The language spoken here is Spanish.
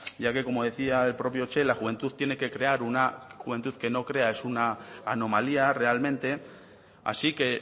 ya que como decía el propio che la juventud tiene que crear una juventud que no crea es una anomalía realmente así que